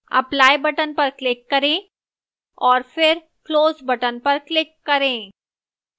apply button पर click करें और फिर close button पर click करें